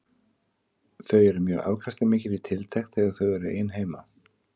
Þau eru mjög afkastamikil í tiltekt þegar þau eru ein heima.